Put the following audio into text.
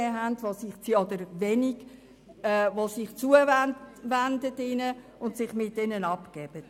– Weil es wenig Eltern gibt, die sich ihren Kindern zuwenden und sich mit ihnen abgeben.